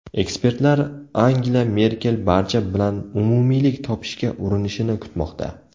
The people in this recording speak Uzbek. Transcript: Ekspertlar Angela Merkel barcha bilan umumiylik topishga urinishini kutmoqda.